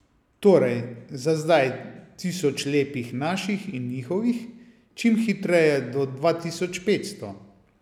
Torej, za zdaj tisoč lepih naših in njihovih, čim hitreje do dva tisoč petsto.